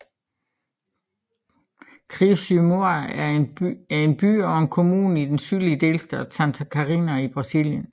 Criciúma er en by og en kommune i den sydlige delstat Santa Catarina i Brasilien